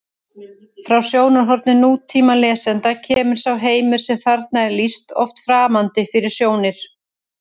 Frá sjónarhorni nútímalesanda kemur sá heimur sem þarna er lýst oft framandi fyrir sjónir: